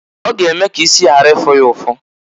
Ọ g'eme k' isi ghara ịfụ ya ụfụ.